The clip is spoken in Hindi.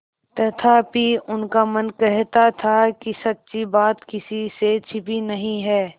तथापि उनका मन कहता था कि सच्ची बात किसी से छिपी नहीं है